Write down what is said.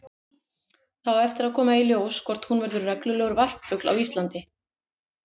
Það á eftir að koma í ljós hvort hún verður reglulegur varpfugl á Íslandi.